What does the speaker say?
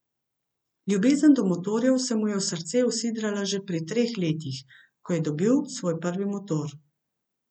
Ljubezen do motorjev se mu je v srce usidrala že pri treh letih, ko je dobil svoj prvi motor.